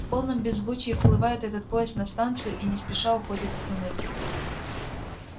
в полном беззвучии вплывает этот поезд на станцию и не спеша уходит в туннель